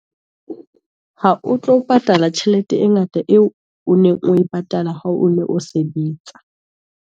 Ha o tlo patala tjhelete e ngata eo, o neng o e patala ha o ne o sebetsa.